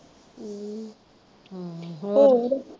ਹਮ ਹਮ ਹੋਰ?